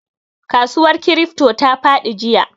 Kasuwar crypto ta fadi jiya.